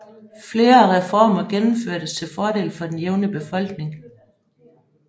Flere reformer gennemførtes til fordel for den jævne befolkning